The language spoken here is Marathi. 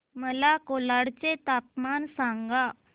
मला कोलाड चे तापमान सांगा